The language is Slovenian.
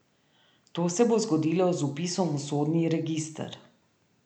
To se bo zgodilo z vpisom v sodni register.